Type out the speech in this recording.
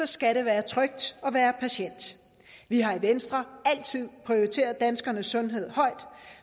skal det være trygt at være patient vi har i venstre altid prioriteret danskernes sundhed højt